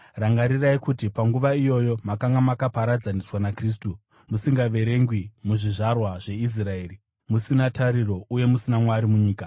rangarirai kuti panguva iyoyo makanga makaparadzaniswa naKristu, musingaverengwi muzvizvarwa zveIsraeri uye muri vatorwa musungano dzechipikirwa, musina tariro uye musina Mwari munyika.